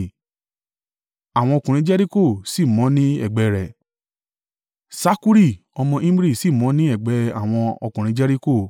Àwọn ọkùnrin Jeriko sì mọ ní ẹ̀gbẹ́ rẹ̀, Sakkuri ọmọ Imri sì mọ ní ẹ̀gbẹ́ àwọn ọkùnrin Jeriko.